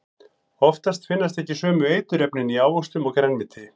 Oftast finnast ekki sömu eiturefnin í ávöxtum og grænmeti.